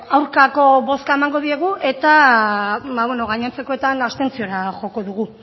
aurkako bozka emango diegu eta gainontzekoetan abstentziora joko dugu